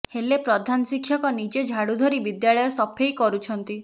ହେଲେ ପ୍ରଧାନ ଶିକ୍ଷକ ନିଜେ ଝାଡୁ ଧରି ବିଦ୍ୟାଳୟ ସଫେଇ କରୁଛନ୍ତି